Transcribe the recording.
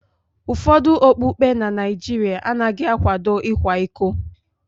Ụfọdụ okpukpe na Nigeria anaghị akwado ịkwa iko